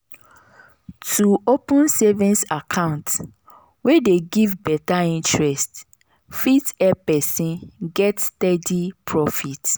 to open savings account wey dey give better interest fit help person get steady profit